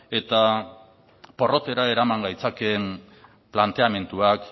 eta porrotera eraman gaitzakeen planteamenduak